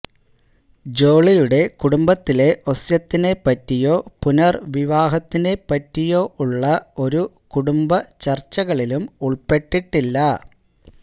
ജോളിയുടെ കുടുംബത്തിലെ ഒസ്യത്തിനെ പറ്റിയോ പുനര്വിവാഹത്തിനെ പറ്റിയോ ഉള്ള ഒരു കുടുംബചര്ച്ചകളിലും ഉള്പ്പെട്ടിട്ടില്ല